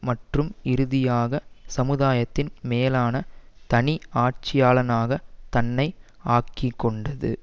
மற்றும் இறுதியாக சமுதாயத்தின் மேலான தனி ஆட்சியாளனாக தன்னை ஆக்கிக்கொண்டது